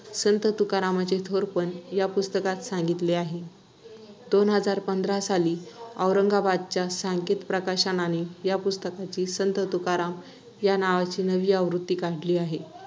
संत तुकारामांचे थोरपण या पुस्तकात सांगितले आहे. दोन हजार पंधरा साली औरंगाबादच्या साकेत प्रकाशनाने या पुस्तकाची ’संत तुकाराम’ या नावाची नवी आवृत्ती काढली आहे.